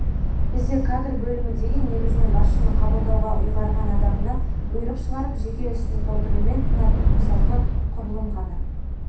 бізде кадр бөлімі деген негізінен басшының қабылдауға ұйғарған адамына бұйрық шығарып жеке ісін толтырумен тынатын қосалқы құрылым ғана